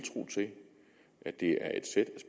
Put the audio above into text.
at det er et sæt